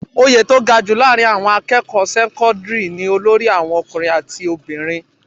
Oyè tó ga jù láàárín àwọn akẹ́kọ̀ọ́ sẹ́kọ́ńdírì ni olórí àwọn ọkùnrin àti obìnrin.